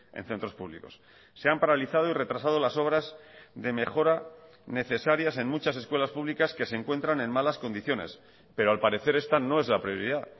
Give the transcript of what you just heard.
en centros públicos se han paralizado y retrasado las obras de mejora necesarias en muchas escuelas públicas que se encuentran en malas condiciones pero al parecer está no es la prioridad